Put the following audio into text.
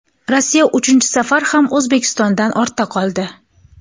Rossiya uchinchi safar ham O‘zbekistondan ortda qoldi.